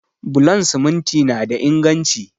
Bulon siminti na da inganci